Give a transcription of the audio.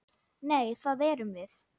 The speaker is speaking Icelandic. Nei, það erum við.